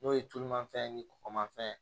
N'o ye tulumafɛn ye ni kɔkɔmafɛn ye